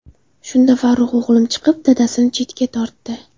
Shunda Farruh o‘g‘lim chiqib, dadasini chetga tortdi.